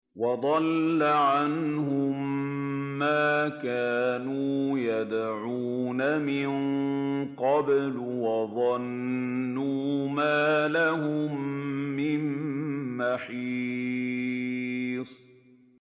وَضَلَّ عَنْهُم مَّا كَانُوا يَدْعُونَ مِن قَبْلُ ۖ وَظَنُّوا مَا لَهُم مِّن مَّحِيصٍ